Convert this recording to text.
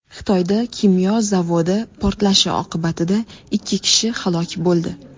Xitoyda kimyo zavodi portlashi oqibatida ikki kishi halok bo‘ldi.